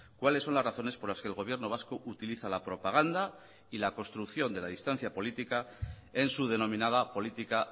cuáles son las razones por las que el gobierno vasco utiliza la propaganda y la construcción de la distancia política en su denominada política